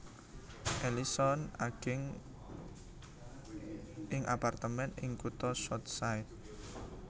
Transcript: Ellison ageng ing apartemén ing kutha South Side